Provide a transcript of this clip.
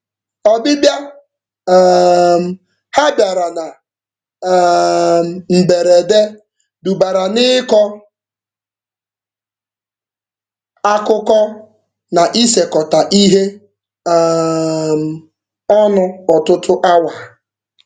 Ọbịbịa um ha bịara na um mberede dubara n'ịkọ akụkọ na isekọta ihe um ọnụ ọtụtụ awa.